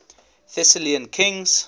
thessalian kings